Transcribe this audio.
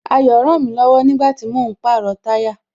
Ayo rànmí lọ̀wọ̀ nígbàtí mò ń pàrọ̀ táyà